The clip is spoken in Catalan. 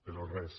però res